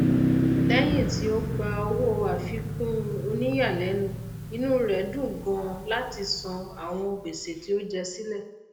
lẹyìn tí ó gba owó àfikún oníyàlẹnu inú rẹ dùn ganan láti san àwọn gbèsè tí ó jẹ sílẹ